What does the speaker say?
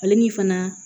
Ale ni fana